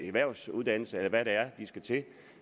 erhvervsuddannelse eller hvad det er de skal til